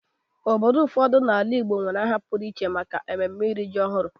Obodo ụfọdụ n'ala Igbo nwere aha pụrụ iche maka mmemme iri ji ọhụrụ.